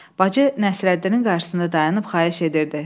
Bacı Nəsrəddinin qarşısında dayanıb xahiş edirdi.